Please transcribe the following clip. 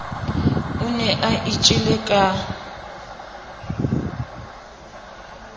o ne a itjele ka